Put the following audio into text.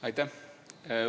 Aitäh!